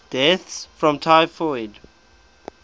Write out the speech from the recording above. deaths from typhus